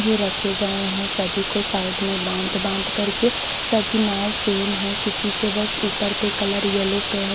जो रखे गए हैं सभी को साइड में बाँध बाँध करके सभी नाँव सेम् है किसी के बस ऊपर पे कलर यल्लो पे है।